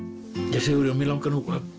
ja Sigurjón mig langar að